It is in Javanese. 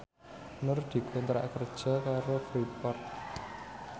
Nur dikontrak kerja karo Freeport